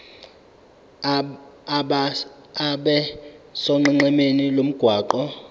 abe sonqenqemeni lomgwaqo